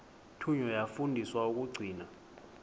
thunywa yafundiswa ukugcina